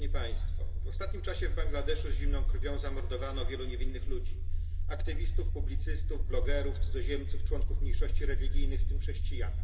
W ostatnim czasie w Bangladeszu z zimną krwią zamordowano wielu niewinnych ludzi aktywistów, publicystów, blogerów, cudzoziemców, członków mniejszości religijnych, w tym chrześcijan.